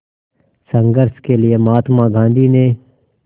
संघर्ष के लिए महात्मा गांधी ने